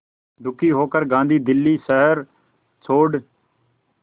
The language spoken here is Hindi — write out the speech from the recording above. दुखी होकर गांधी दिल्ली शहर छोड़